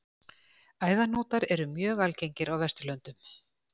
Æðahnútar eru mjög algengir á Vesturlöndum.